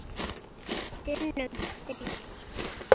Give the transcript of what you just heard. Sinnum þrír.